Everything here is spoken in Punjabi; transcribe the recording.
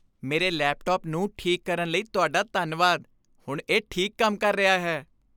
ਮੇਰੇ ਲੈਪਟਾਪ ਨੂੰ ਠੀਕ ਕਰਨ ਲਈ ਤੁਹਾਡਾ ਧੰਨਵਾਦ। ਹੁਣ ਇਹ ਠੀਕ ਕੰਮ ਕਰ ਰਿਹਾ ਹੈ।